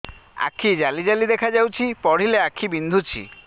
ଆଖି ଜାଲି ଜାଲି ଦେଖାଯାଉଛି ପଢିଲେ ଆଖି ବିନ୍ଧୁଛି